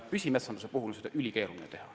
Püsimetsanduse korral on uuendamist üsna keeruline teha.